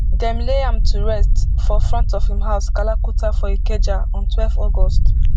dem lay am to rest for front of im house kalakuta for ikeja on twelve august